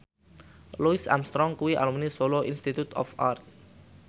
Louis Armstrong kuwi alumni Solo Institute of Art